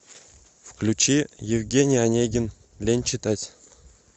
включи евгений онегин лень читать